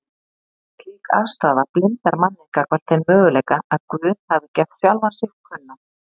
Slík afstaða blindar manninn gagnvart þeim möguleika að Guð hafi gert sjálfan sig kunnan